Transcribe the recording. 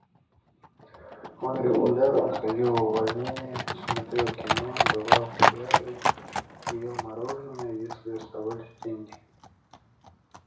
он регулярно ходил в увольнения смотрел кино бывал в театре и ел мороженое если оставались деньги